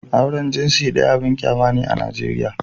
Auren jinsi ɗaya abin kyama ne a Najeriya